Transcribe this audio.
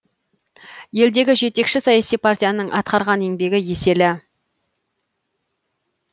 елдегі жетекші саяси партияның атқарған еңбегі еселі